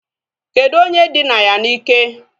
Kedụ onye dina ya na ike?